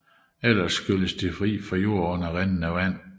Ellers skylles de fri for jord under rindende vand